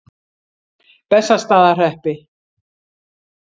Bessastaðahreppi